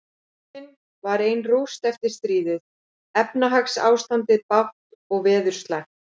Borgin var ein rúst eftir stríðið, efnahagsástand bágt og veður slæmt.